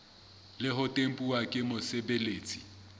le ho tempuwa ke mosebeletsi